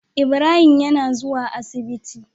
Ibrahim yAna zuwa asibiti